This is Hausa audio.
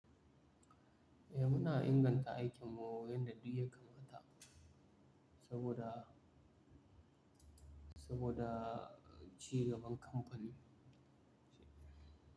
Muna inganta aikinmu yanda duk ya kamata, saboda, saboda cigaban kamfani.